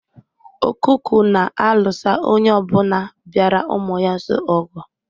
Okuku na-alụso onye ọbụna bịara ụmụ ya nso ogu